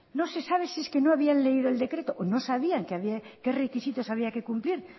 no se sabe si es que no habían leído el decreto o no sabían qué requisitos había que cumplir